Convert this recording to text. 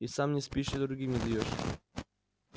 и сам не спишь и другим не даёшь